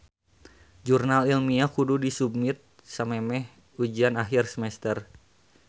Jurnal ilmiah kudu disubmit samemeh ujian akhir semester